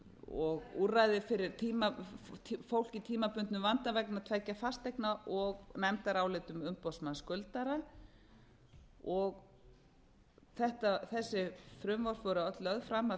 og úrræði fyrir fólk í tímabundnum vanda vegna tveggja fasteigna og nefndarálit um umboðsmann skuldara þessi frumvörp voru öll lögð fram af